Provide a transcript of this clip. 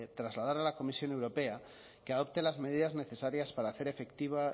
trasladar a la comisión europea que adopten las medidas necesarias para hacer efectiva